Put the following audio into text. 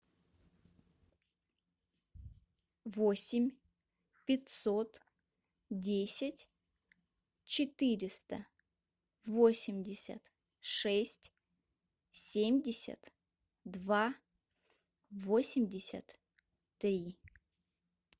восемь пятьсот десять четыреста восемьдесят шесть семьдесят два восемьдесят три